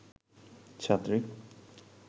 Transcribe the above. ছাত্রী